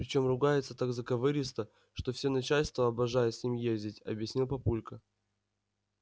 причём ругается так заковыристо что все начальство обожает с ним ездить объяснил папулька